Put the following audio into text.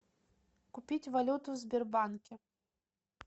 купить валюту в сбербанке